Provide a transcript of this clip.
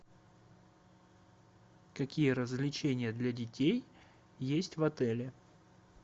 какие развлечения для детей есть в отеле